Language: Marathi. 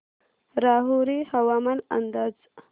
राहुरी हवामान अंदाज